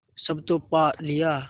सब तो पा लिया